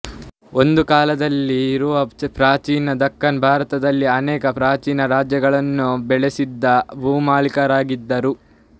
ಒಂದು ಕಾಲದಲ್ಲಿ ಇವರು ಪ್ರಾಚೀನ ದಖ್ಖನ ಭಾರತದಲ್ಲಿ ಅನೇಕ ಪ್ರಾಚೀನ ರಾಜ್ಯಗಳನ್ನು ಬೆಳೆಸಿದ ಭೂಮಾಲೀಕರಾಗಿದ್ದರು